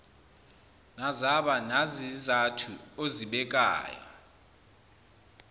nazaba nazizathu ozibekayo